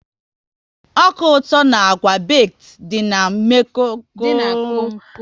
Ọka ụtọ na àgwà beked dị n'kom kom bụ ihe ga ahụ na saladi